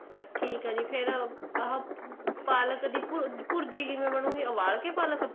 ਠੀਕ ਏ ਜੀ ਫੇਰ ਆਹ ਪਾਲਕ ਦੀ ਭੁਰਜੀ ਕਿਵੇਂ ਬਣੁ ਗੀ ਉਬਾਲ ਕੇ ਪਾਲਕ